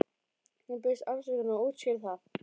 Hún biðst afsökunar og útskýrir það.